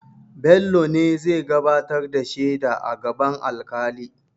Bello ne zai gabatar da shaida a gaban alƙali.